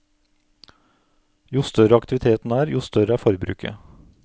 Jo større aktiviteten er, jo større er forbruket.